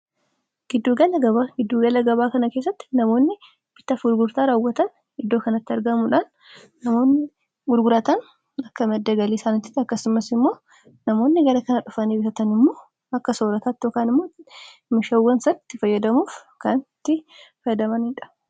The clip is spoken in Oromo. giddugala gabaa kana keessatti namoonni bitaaf gurgurataa raawwatan iddoo kanatti argamuudhaan namoonnii gurguratan akka imaddagali isaanittiti akkasumas immoo namoonni gara kana dhufanii bisatani immoo akka soorataatiookaan immootti mishawwan satti fayyadamuuf kantti fayyadamaniidha